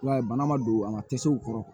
I b'a ye bana ma don an ka tasew kɔrɔ